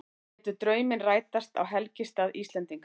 Létu drauminn rætast á helgistað Íslendinga